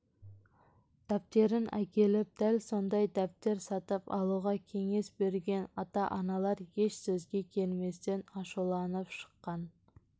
дәптерін әкеліп дәл сондай дәптер сатып алуға кеңес берген ата-аналар еш сөзге келместен ашуланып шыққан